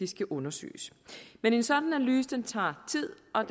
skal undersøges men en sådan analyse tager tid og